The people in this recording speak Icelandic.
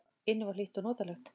Inni var hlýtt og notalegt.